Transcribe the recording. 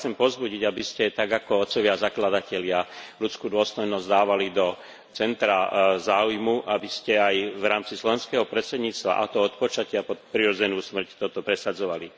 Ja Vás chcem povzbudiť, aby ste tak ako otcovia zakladatelia ľudskú dôstojnosť dávali do centra záujmu, aby ste aj v rámci slovenského predsedníctva, a to od počatia po prirodzenú smrť, toto presadzovali.